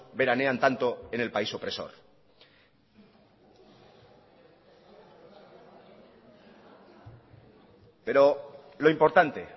veranean tanto en el país opresor pero lo importante